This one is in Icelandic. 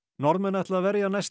Norðmenn ætla að verja næstu